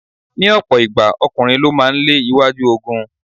Ní ọ̀pọ̀ ìgbà, ọkùnrin ló máa ń lé iwájú ogun.